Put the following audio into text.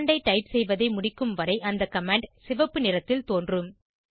command ஐ type செய்வதை முடிக்கும் வரை அந்த கமாண்ட் சிவப்பு நிறத்தில் தோன்றும்